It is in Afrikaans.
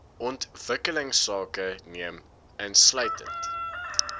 ontwikkelingsake neem insluitend